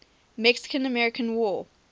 mexican american war